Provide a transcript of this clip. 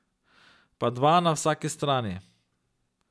Po dva na vsaki strani.